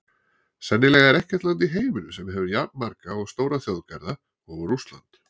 Sennilega er ekkert land í heiminum sem hefur jafnmarga og stóra þjóðgarða og Rússland.